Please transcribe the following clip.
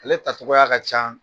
Ale tacogoya ka ca.